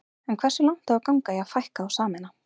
En hversu langt á að ganga í að fækka og sameina?